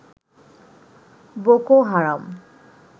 Boko Haram